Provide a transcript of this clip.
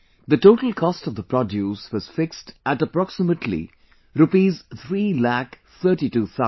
The total cost of the produce was fixed at approximately Rupees Three Lakh thirty two thousand